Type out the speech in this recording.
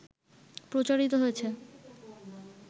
প্রচারিত হয়েছে